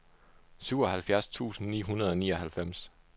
syvoghalvfjerds tusind ni hundrede og nioghalvfems